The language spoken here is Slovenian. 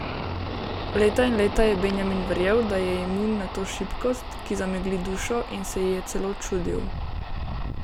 Leta in leta je Benjamin verjel, da je imun na to šibkost, ki zamegli dušo, in se ji je celo čudil.